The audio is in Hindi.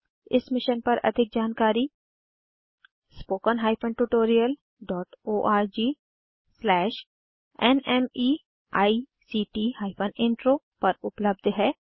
इस मिशन पर अधिक जानकारी httpspoken tutorialorgNMEICT Intro पर उपलब्ध है